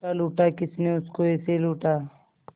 लूटा लूटा किसने उसको ऐसे लूटा